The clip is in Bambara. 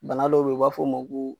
Bana dɔw bɛ ye u b'a fɔ ma ko.